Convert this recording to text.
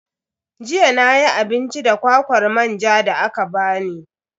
Jiya nayi abinci da kwakwar manjan da aka bani.